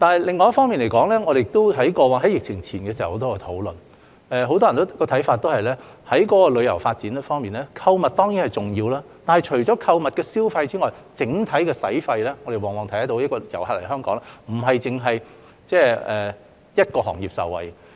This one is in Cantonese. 另一方面，我們在疫情前已有許多討論，當時很多人認為，在旅遊發展方面，促進購物消費固然重要，但除此之外，我們看到旅客來港的整體消費往往並非只會令一個行業受惠。